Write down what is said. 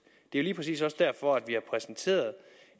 det er lige præcis også derfor vi har præsenteret